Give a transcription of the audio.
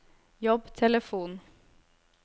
jobbtelefon